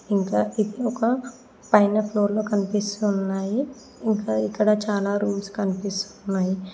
ఇంకా ఇక్కడ ఒక పైన ఫ్లోర్ లో కనిపిస్తున్నాయి ఇంకా ఇక్కడ చాలా రూమ్స్ కనిపిస్తున్నాయి.